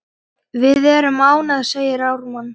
Við erum ánægð, segir Ármann.